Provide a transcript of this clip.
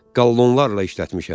Qallonlarla işlətmişəm.